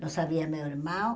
Não sabia meu irmão.